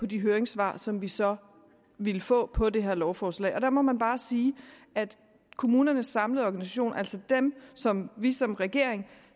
de høringssvar som vi så ville få på det her lovforslag der må man bare sige at kommunernes samlede organisation altså dem som vi som regering